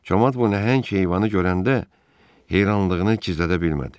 Camaat bu nəhəng heyvanı görəndə heyrandığını gizlədə bilmədi.